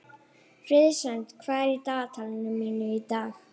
Friðsemd, hvað er í dagatalinu mínu í dag?